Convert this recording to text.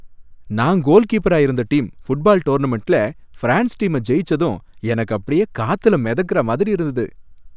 நான் கோல்கீப்பரா இருந்த டீம் ஃபுட்பால் டோர்னமன்டுல ஃபிரான்ஸ் டீம ஜெயிச்சதும் எனக்கு அப்படியே காத்துல மிதக்குற மாதிரி இருந்தது